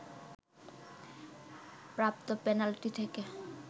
প্রাপ্ত পেনাল্টি থেকে